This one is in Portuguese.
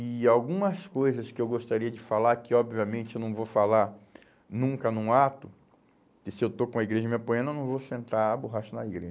E algumas coisas que eu gostaria de falar, que obviamente eu não vou falar nunca num ato, porque se eu estou com a igreja me apoiando, eu não vou sentar a borracha na